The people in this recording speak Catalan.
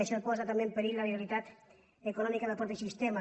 i això posa també en perill la viabilitat econò·mica del mateix sistema